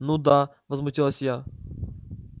ну да возмутилась я